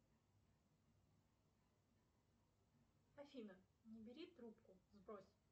афина не бери трубку сбрось